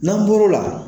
N'an bɔr'o la